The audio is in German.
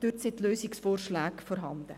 Dort sind die Lösungsvorschläge vorhanden.